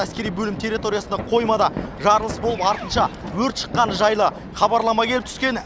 әскери бөлім территориясында қоймада жарылыс болып артынша өрт шыққаны жайлы хабарлама келіп түскен